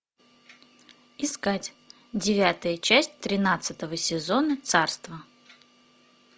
искать девятая часть тринадцатого сезона царство